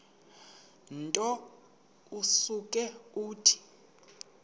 nto usuke uthi